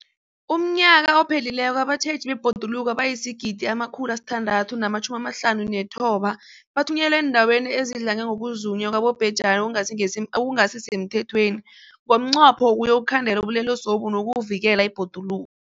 UmNnyaka ophelileko abatjheji bebhoduluko abayi-1 659 bathunyelwa eendaweni ezidlange ngokuzunywa kwabobhejani okungasi semthethweni ngomnqopho wokuyokukhandela ubulelesobu nokuvikela ibhoduluko.